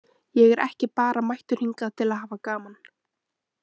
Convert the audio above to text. Ég er ekki bara mættur hingað til að hafa gaman.